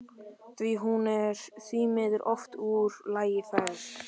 Hún er því miður oft úr lagi færð.